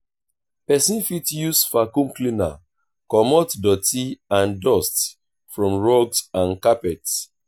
person fit use vacuum cleaner comot doty and dust from rugs and carpets